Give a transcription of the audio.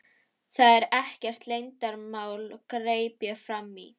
Það er ekkert leyndarmál, greip ég fram í.